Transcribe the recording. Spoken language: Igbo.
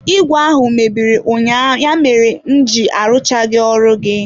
Igwe ahụ mebiri ụnyaahụ ya mere m ji arụchaghị ọrụ gị.